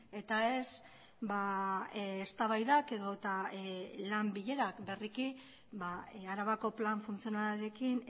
eta ez eztabaidak edota lan bilerak berriki arabako plan funtzionalarekin